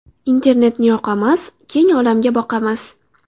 Internetni yoqamiz, Keng olamga boqamiz.